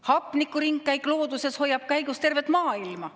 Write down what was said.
Hapnikuringkäik looduses hoiab käigus tervet maailma.